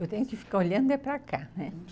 Eu tenho que ficar olhando é para cá, né?